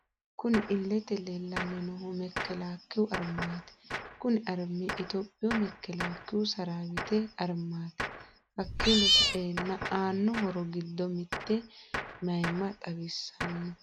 Kunni iilete leellani noohu mekelakiyu arimati. Kunni arimi ittoyoopiyu mekelakiyu sarawite arimati. hakiino sa'eena aano horro giddo mitte mayimma xawisano.